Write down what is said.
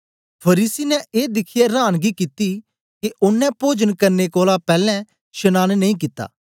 फरीसी ने ए दिखियै रांनगी कित्ती के ओनें पोजन करने कोलां पैलैं शनांन नेई कित्ता